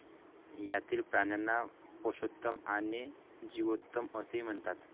यातील प्राण्यांना पषोत्तम आणि जीओत्तमअसेही म्हणतात